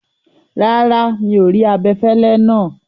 Rárá, mi o rí abẹ̀fẹ̀lẹ̀ náà.